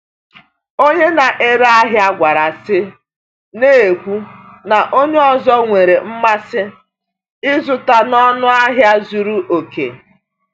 Onye na-ere ahịa kwara isi, na-ekwu na onye ọzọ nwere mmasị ịzụta n’ọnụ ahịa zuru oke.